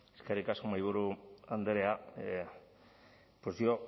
eskerrik asko mahaiburu andrea pues yo